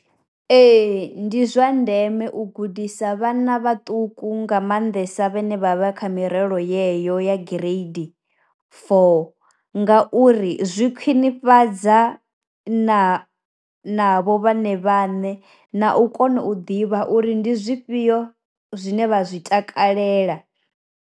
Ee ndi zwa ndeme u gudisa vhana vhaṱuku nga maanḓesa vhane vha vha kha mirero yeyo ya gireidi four, nga uri zwi khwinifhadza na na vho vhone vhaṋe na u kona u ḓivha uri ndi zwifhio zwine vha zwi takalela.